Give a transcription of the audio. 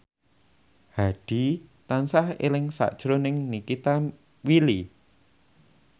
Hadi tansah eling sakjroning Nikita Willy